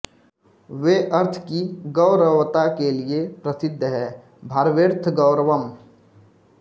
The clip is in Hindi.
वे अर्थ की गौरवता के लिये प्रसिद्ध हैं भारवेरर्थगौरवम्